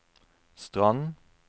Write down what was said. Strand